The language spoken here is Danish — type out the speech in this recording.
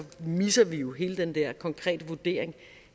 misser vi jo hele den der konkrete vurdering